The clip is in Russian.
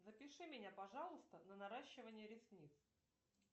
запиши меня пожалуйста на наращивание ресниц